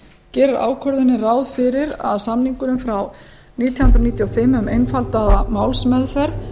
gerir ákvörðunin að samningurinn frá nítján hundruð níutíu og fimm um einfaldaða málsmeðferð